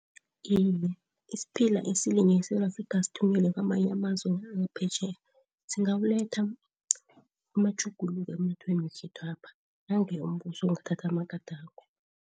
Iye isiphila eSewula Afrika sithunyelwe kwamanye amazwe wangaphetjheya singawaletha amatjhuguluko emnothweni wekhethwapha nange umbuso kungathatha amagadango.